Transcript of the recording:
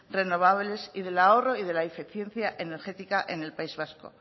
renovables y del ahorro y de la eficiencia energética en el país vasco